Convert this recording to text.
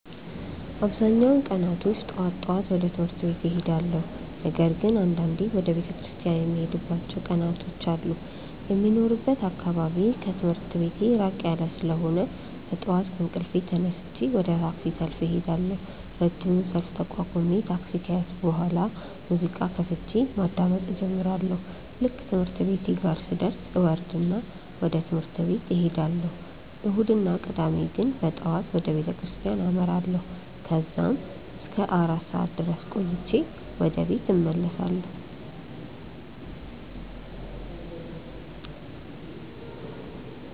አብዛኛውን ቀናቶች ጠዋት ጠዋት ወደ ትምህርት ቤት እሄዳለሁ። ነገር ግን አንዳንዴ ወደ ቤተክርስቲያን የምሄድባቸው ቀናት አሉ። የሚኖርበት አካባቢ ከትምህርት ቤቴ ራቅ ያለ ስለሆነ በጠዋት ከእንቅልፌ ተነስቼ ወደ ታክሲ ሰልፍ እሄዳለሁ። ረጅሙን ሰልፍ ተቋቁሜ ታክሲ ከያዝኩ በኋላ ሙዚቃ ከፍቼ ማዳመጥ እጀምራለሁ። ልክ ትምህርት ቤቴ ጋር ስደርስ እወርድና ወደ ትምህርት እሄዳለሁ። እሁድ እና ቅዳሜ ግን በጠዋት ወደ ቤተክርስቲያን አመራለሁ። ከዛም እስከ አራት ሰዓት ድረስ ቆይቼ ወደ ቤት እመለሳለሁ።